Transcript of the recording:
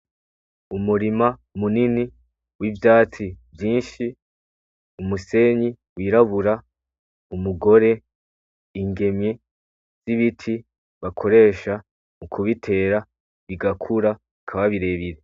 Umurima munini n'ivyatsi vyinshi, umusenyi w'irabura, umugore, ingemwe z'ibiti bakoresha mu kubitera bigakura bikaba birebire.